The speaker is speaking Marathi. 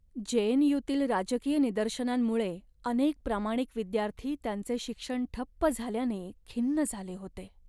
जे.एन.यू.तील राजकीय निदर्शनांमुळे अनेक प्रामाणिक विद्यार्थी त्यांचे शिक्षण ठप्प झाल्याने खिन्न झाले होते.